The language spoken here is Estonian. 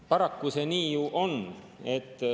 Paraku see nii ju on.